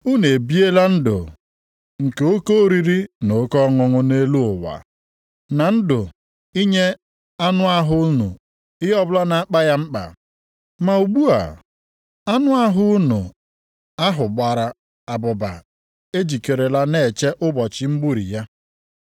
Unu ebiela ndụ nke oke oriri na oke ọṅụṅụ nʼelu ụwa, na ndụ inye anụ ahụ unu ihe ọbụla na-akpa ya mkpa. Ma ugbu a, anụ ahụ unu ahụ gbara abụba ejikerela na-eche ụbọchị mgburi ya.